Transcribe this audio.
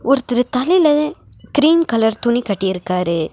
ஒருத்தரு தலைல cream colour துணி கட்டிருக்காரு.